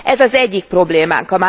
Ez az egyik problémánk.